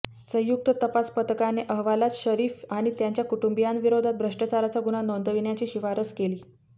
संयुक्त तपास पथकाने अहवालात शरीफ आणि त्यांच्या कुटुंबीयांविरोधात भ्रष्टाचाराचा गुन्हा नोंदविण्याची शिफारस केली